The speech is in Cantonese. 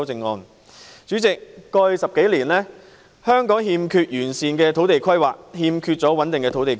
代理主席，過去10多年，香港一直欠缺完善的土地規劃和穩定的土地供應。